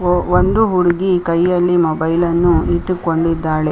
ಒಂದು ಹುಡುಗಿ ಕೈಯಲ್ಲಿ ಮೊಬೈಲ್ ಅನ್ನು ಇಟ್ಟುಕೊಂಡಿದ್ದಾಳೆ.